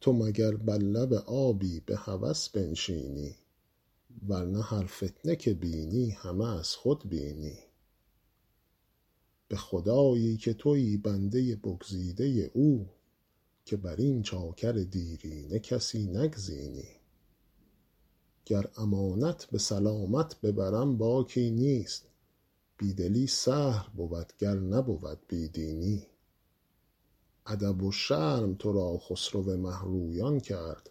تو مگر بر لب آبی به هوس بنشینی ور نه هر فتنه که بینی همه از خود بینی به خدایی که تویی بنده بگزیده او که بر این چاکر دیرینه کسی نگزینی گر امانت به سلامت ببرم باکی نیست بی دلی سهل بود گر نبود بی دینی ادب و شرم تو را خسرو مه رویان کرد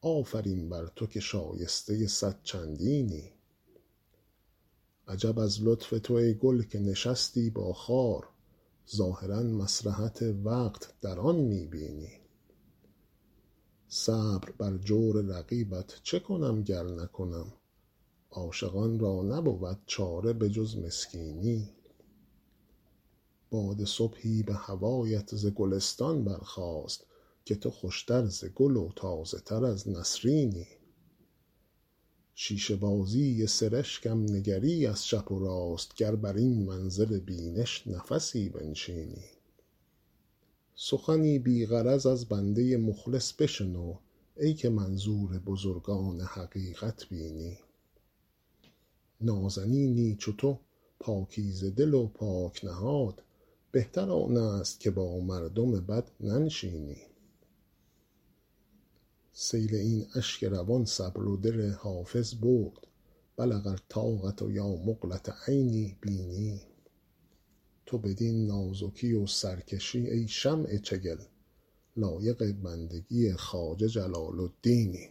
آفرین بر تو که شایسته صد چندینی عجب از لطف تو ای گل که نشستی با خار ظاهرا مصلحت وقت در آن می بینی صبر بر جور رقیبت چه کنم گر نکنم عاشقان را نبود چاره به جز مسکینی باد صبحی به هوایت ز گلستان برخاست که تو خوش تر ز گل و تازه تر از نسرینی شیشه بازی سرشکم نگری از چپ و راست گر بر این منظر بینش نفسی بنشینی سخنی بی غرض از بنده مخلص بشنو ای که منظور بزرگان حقیقت بینی نازنینی چو تو پاکیزه دل و پاک نهاد بهتر آن است که با مردم بد ننشینی سیل این اشک روان صبر و دل حافظ برد بلغ الطاقة یا مقلة عینی بیني تو بدین نازکی و سرکشی ای شمع چگل لایق بندگی خواجه جلال الدینی